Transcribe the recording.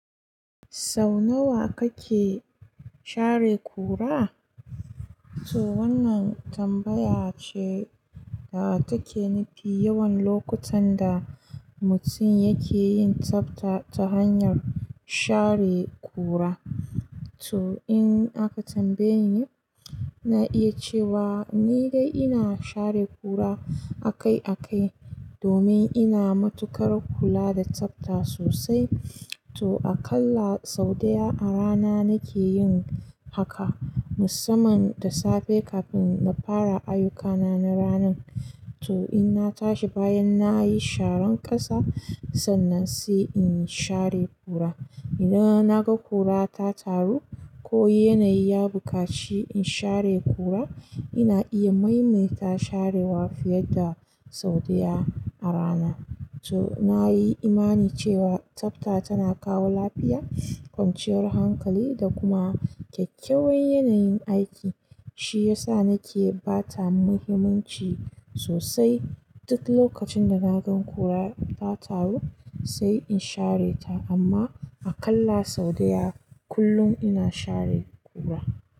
Sau nawa kake share ƙura? To wannan tambaya ce da take nufi yawan lokutan da mutum yake yin tsafta ta hanyar share ƙura. To in aka tambaye ni, ina iya cewa ni dai ina share ƙura akai-akai domin ina matukar kula da tsafta sosai. To aƙalla sau daya a rana nake yin haka, musamman da safe kafin na fara ayyukana na ranan. To in na tashi bayan na yi sharan ƙasa, sannan sai in share ƙura. Idan na ga ƙura ta taru ko yanayi ya buƙaci in share ƙura, ina iya maimaita sharewa fiye da sau daya a rana. To na yi imani cewa tsafta tana kawo lafiya, kwanciyar hankali da kuma kyakkyawan yanayin aiki. Shi ya sa nake ba ta muhimmanci sosai. Duk lokacin da na gan ƙura ta taru, sai in share ta. Amma aƙalla sau daya kullum ina share ƙura.